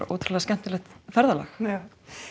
ótrúlega skemmtilegt ferðalag hérna